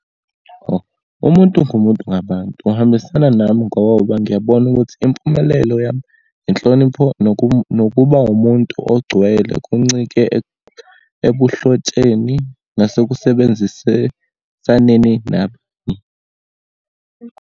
Oh, umuntu ngumuntu ngabantu, uhambisana nami ngoba ngiyabona ukuthi impumelelo yami, inhlonipho, nokuba umuntu ogcwele kuncike ebuhlotsheni nasekusebenzisesaneni nabo.